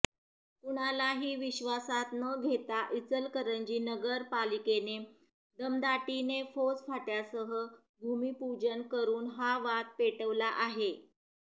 कुणालाही विश्वासात न घेता इचलकरंजी नगरपालिकेने दमदाटीने फौजफाट्यासह भूमीपूजन करून हा वाद पेटवला आहे